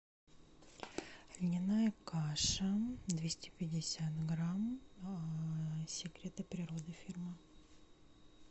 льняная каша двести пятьдесят грамм секреты природы фирма